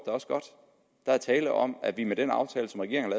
også godt der er tale om at vi med den aftale som regeringen